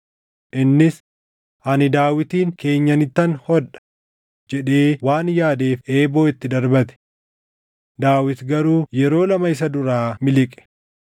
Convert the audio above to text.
innis, “Ani Daawitin keenyanittan hodha” jedhee waan yaadeef eeboo itti darbate. Daawit garuu yeroo lama isa duraa miliqe.